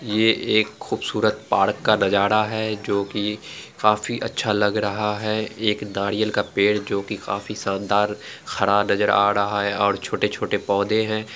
ये एक खूबसूरत पार्क का नज़ारा है जो की काफी अच्छा लग रहा है एक नारियल का पेड़ जो की काफी शानदार खरा नजर आ रहा है और छोटे छोटे पोधे है |